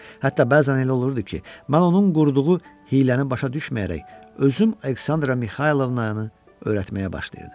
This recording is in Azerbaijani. Hətta bəzən elə olurdu ki, mən onun qurduğu hiyləni başa düşməyərək özüm Aleksandra Mixaylovnanı öyrətməyə başlayırdım.